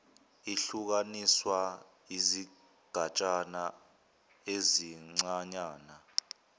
ihlukaniswa izigatshana ezincanyana